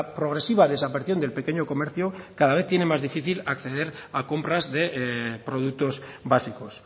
progresiva desaparición del pequeño comercio cada vez tiene más difícil a acceder a compras de productos básicos